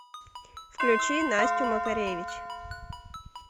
включи настю макаревич